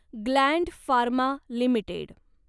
Gland pharma limited